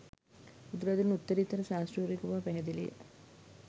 බුදුරදුන් උත්තරීතර ශාස්තෘවරයකු බව පැහැදිලිය